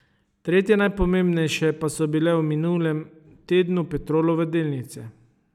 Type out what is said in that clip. Tretje najprometnejše pa so bile v minulem tednu Petrolove delnice.